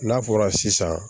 N'a fɔra sisan